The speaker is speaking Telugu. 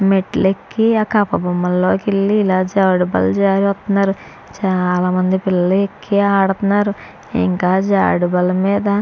మెట్లేక్కి అ కట్ బొమ్మలోకెళ్ళి ఇలా జారుడుబల్ల జారెతున్నారు చాలా మంది పిల్లలేక్కి ఆడతన్నారు ఇంకా జారుడుబల్ల మీద --